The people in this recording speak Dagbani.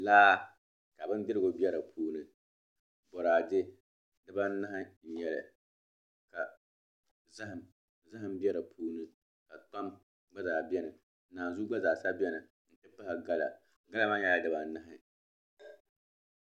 Laa ka bindirigu bɛ di puuni boraadɛ dibanahi n nyɛli ka zaham bɛ di puuni ka kpam gba zaa bɛni naanzuu gba zaa sa bɛni n ti pahi gala gala maa nyɛla dibanahi